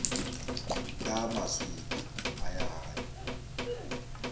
ka maswika a ya gae